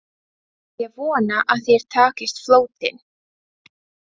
Ég vona að þér takist flóttinn